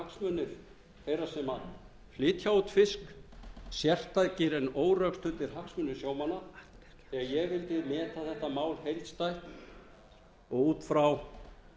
hagsmunir þeirra sem flytja út fisk sérstakir en órökstuddir hagsmunir sjómanna þegar ég vildi meta þetta mál heildstætt og út frá